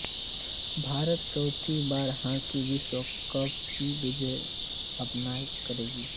भारत चौथी बार हॉकी विश्वकप की मेजबानी करेगा